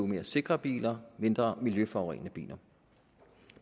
mere sikre biler og mindre miljøforurenende biler